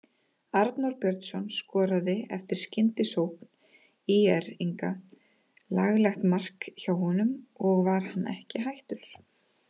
Arnór Björnsson skoraði eftir skyndisókn ÍR-inga, laglegt mark hjá honum og var hann ekki hættur.